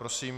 Prosím.